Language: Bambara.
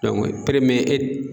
Dɔnku pereme e t